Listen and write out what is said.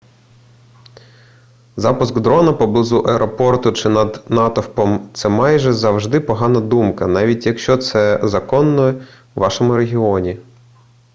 запуск дрона поблизу аеропорту чи над натовпом це майже завжди погана думка навіть якщо це законно у вашому регіоні